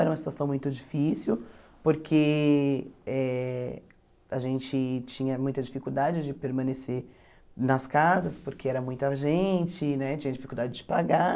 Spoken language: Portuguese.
Era uma situação muito difícil porque eh a gente tinha muita dificuldade de permanecer nas casas porque era muita gente né, tinha dificuldade de pagar.